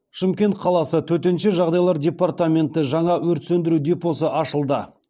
шымкент қаласы төтенше жағдайлар департаменті жаңа өрт сөндіру депосы ашылды